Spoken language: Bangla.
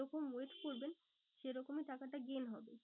যে রকম wait করবেন সে রকমই টাকাটা gain হবে।